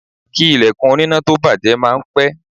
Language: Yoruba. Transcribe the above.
Kí ilẹ̀kùn oníná tó bàjẹ́ máa ń pé.